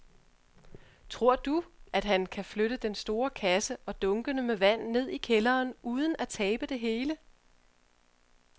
Tror du, at han kan flytte den store kasse og dunkene med vand ned i kælderen uden at tabe det hele?